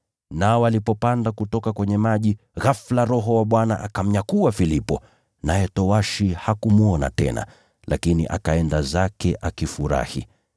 Nao walipopanda kutoka kwenye maji, ghafula Roho wa Bwana akamnyakua Filipo, naye towashi hakumwona tena, lakini akaenda zake akifurahi.